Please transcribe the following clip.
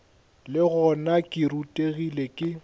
le gona ke rutegile ke